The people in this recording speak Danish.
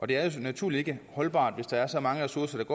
det er naturligvis ikke holdbart hvis der er så mange ressourcer